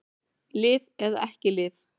Lyf eða ekki lyf